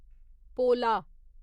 पोला